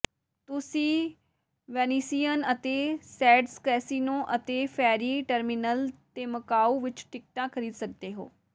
ਤੁਸੀਂ ਵੈਨਿਸੀਅਨ ਅਤੇ Sands casino ਅਤੇ ਫ਼ੈਰੀ ਟਰਮਿਨਲ ਤੇ ਮਕਾਊ ਵਿਚ ਟਿਕਟਾਂ ਖ਼ਰੀਦ ਸਕਦੇ ਹੋ